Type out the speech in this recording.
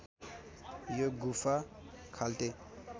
यो गुफा खाल्टे